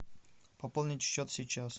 пополнить счет сейчас